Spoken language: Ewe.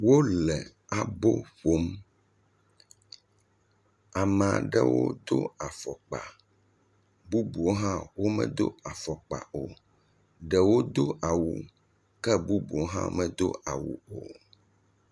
Wole abo ƒom, ame aɖewo do afɔkpa, bubuwo hã medo afɔkpa o, ɖewo do awu, ke bubuwo hã medo awu o.